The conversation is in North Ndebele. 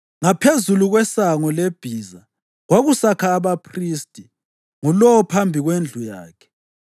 Ngaphezulu kweSango leBhiza, kwakusakha abaphristi, ngulowo phambi kwendlu yakhe.